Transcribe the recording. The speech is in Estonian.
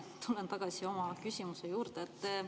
Ma tulen oma küsimuse juurde tagasi.